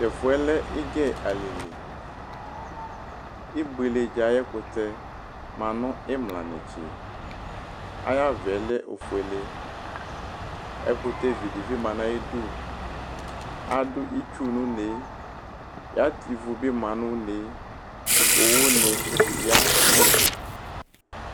Tʋ ɛfʋɛ lɛ Ɩgɛ alɩliIbueledza ayʋ ɛkʋtɛ ma nʋ ɩmla netse; ayava yɛ lɛ ofueleƐkʋtɛ vi dɩ bɩ ma nʋ ayidu Adʋ itsu nʋ uneeAtɛ ivu bɩ ma nʋ unee, owu ne ya nʋ ɛfɛ